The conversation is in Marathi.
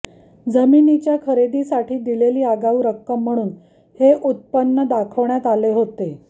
जमिनीच्या खरेदीसाठी दिलेली आगाऊ रक्कम म्हणून हे उत्पन्न दाखवण्यात आले होते